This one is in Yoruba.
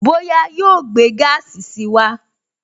Bóyá yóò gbé gaasi si wá